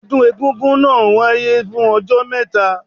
Ọdún egúngún náà wáyé fún ọjọ́ mẹ́ta.